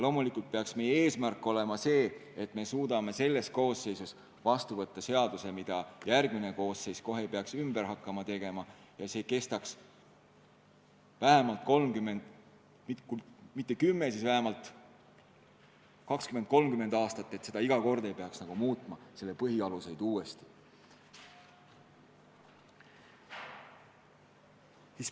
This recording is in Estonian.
Loomulikult peaks meie eesmärk olema, et me suudame selles koosseisus vastu võtta seaduse, mida järgmine koosseis kohe ei peaks hakkama ümber tegema, ja et see kestaks kui mitte kümme, siis vähemalt 20–30 aastat, et selle põhialuseid ei peaks muutma.